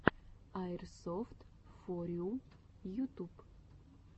аирсофтфорю ютуб